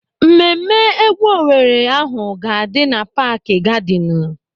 Mmemme égwú Owere ahụ ga-adị na paaki gadịnụ.